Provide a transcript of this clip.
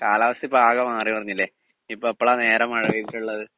speaker 2 കാലാവസ്ഥ ഇപ്പോ ആകെ മാറി മറിഞ്ഞില്ലേ ഇപ്പോ എപ്പളാ നേരെ മഴ പെയ്തിട്ടുള്ളത്